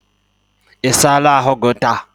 Ị sala ahụ gị taa?